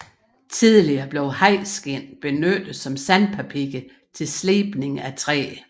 Tidligere blev hajskind benyttet som sandpapir til slibning af træ